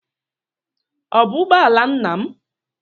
Ọ bụ ụgbọ ala nna m?